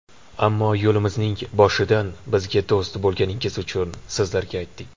Ammo yo‘limizning boshidan bizga do‘st bo‘lganingiz uchun sizlarga aytdik.